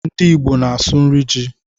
Ndị Igbo na-asụ nri ji